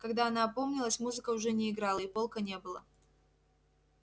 когда она опомнилась музыка уже не играла и полка не было